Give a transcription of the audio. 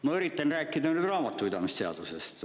Ma üritan rääkida nüüd raamatupidamise seadusest.